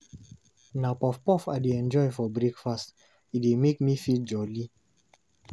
Na puff-puff I dey enjoy for breakfast, e dey make me feel jolly.